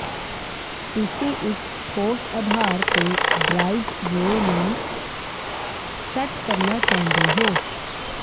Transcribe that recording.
ਤੁਸੀਂ ਇੱਕ ਠੋਸ ਆਧਾਰ ਤੇ ਡ੍ਰਾਈਵਵੇਅ ਨੂੰ ਸੈੱਟ ਕਰਨਾ ਚਾਹੁੰਦੇ ਹੋ